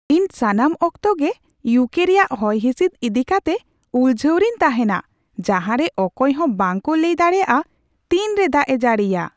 ᱤᱧ ᱥᱟᱱᱟᱢ ᱚᱠᱛᱚ ᱜᱮ ᱤᱭᱩᱠᱮ ᱨᱮᱭᱟᱜ ᱦᱚᱭᱦᱤᱥᱤᱫ ᱤᱫᱤ ᱠᱟᱛᱮ ᱩᱞᱡᱷᱟᱹᱣ ᱨᱮᱧ ᱛᱟᱦᱮᱱᱟ, ᱡᱟᱦᱟᱨᱮ ᱚᱠᱚᱭ ᱦᱚᱸ ᱵᱟᱝᱠᱚ ᱞᱟᱹᱭ ᱫᱟᱲᱮᱭᱟᱜᱼᱟ ᱛᱤᱱᱨᱮ ᱫᱟᱜᱼᱮ ᱡᱟᱹᱲᱤᱭᱟ ᱾